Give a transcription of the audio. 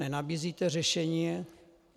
Nenabízíte řešení.